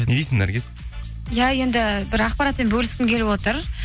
не дейсің наргиз иә енді бір ақпаратпен бөліскім келіп отыр